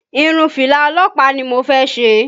Irun fìlà ọlọ́pàá ni mo fẹ́ ṣe